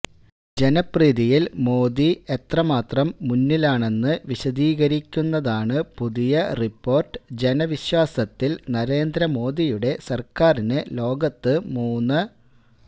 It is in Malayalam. ജനപ്രീതിയിൽ മോദി എത്രമാത്രം മുന്നിലാണെന്ന് വിശദീകരിക്കുന്നതാണ് പുതിയ റിപ്പോർട്ട് ജനവിശ്വാസത്തിൽ നരേന്ദ്ര മോദിയുടെ സർക്കാരിന് ലോകത്ത് മൂന്ന